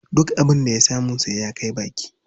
Duk abin da ya samu sai ya kai baki.